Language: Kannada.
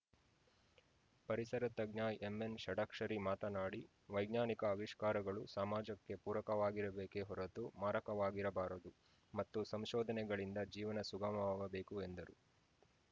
ಪರಿಸರ ತಜ್ಞ ಎಂಎನ್‌ ಷಡಕ್ಷರಿ ಮಾತನಾಡಿ ವೈಜ್ಞಾನಿಕ ಅವಿಷ್ಕಾರಗಳು ಸಮಾಜಕ್ಕೆ ಪೂರಕವಾಗಿಬೇಕೆ ಹೊರತು ಮಾರಕವಾಗಿರಬಾರದು ಮತ್ತು ಸಂಶೋಧನೆಗಳಿಂದ ಜೀವನ ಸುಗಮವಾಗಬೇಕು ಎಂದರು